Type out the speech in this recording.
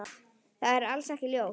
Það er alls ekki ljóst.